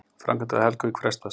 Framkvæmdir við Helguvík frestast